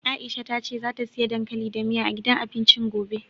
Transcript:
Aisha ta ce zata siya dankali da miya, a gidan abincin gobe.